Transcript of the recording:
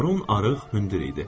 Baron arıq, hündür idi.